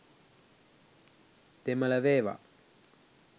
දෙමල වේවා